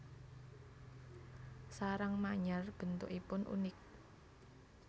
Sarang manyar bentukipun unik